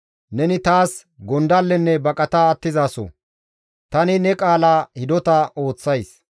Neni taas gondallenne baqata attizaso; tani ne qaala hidota ooththays.